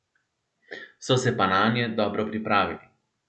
So se pa nanje dobro pripravili.